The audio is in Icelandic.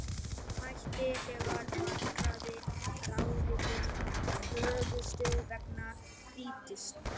Hætti þegar markaðir erlendis lokuðust vegna stríðsins.